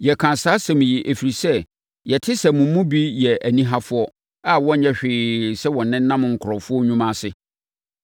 Yɛka saa asɛm yi, ɛfiri sɛ, yɛte sɛ mo mu bi yɛ anihafoɔ a wɔnyɛ hwee sɛ wɔnenam nkurɔfoɔ nnwuma ase.